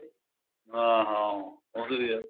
ਹਾਂ ਹਾਂ ਉਹੀ ਤੇ ਹੈ